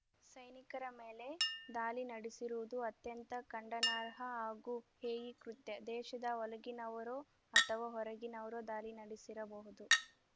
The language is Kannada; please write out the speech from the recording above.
ಸೈನಿಕರ ಮೇಲೆ ದಾಳಿ ನಡೆಸಿರುವುದು ಅತ್ಯಂತ ಖಂಡನಾರ್ಹ ಹಾಗೂ ಹೇಯ ಕೃತ್ಯ ದೇಶದ ಒಳಗಿನವರೋ ಅಥವಾ ಹೊರಗಿನವರೋ ದಾಳಿ ನಡೆಸಿರಬಹುದು